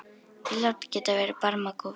Ílát geta verið barmakúf.